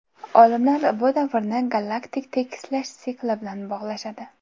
Olimlar bu davrni galaktik tekislash sikli bilan bog‘lashadi.